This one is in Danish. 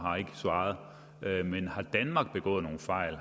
svaret har begået nogle fejl